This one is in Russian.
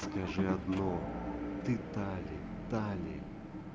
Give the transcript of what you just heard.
скажи одно ты тали тали